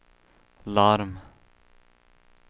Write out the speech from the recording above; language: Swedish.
larm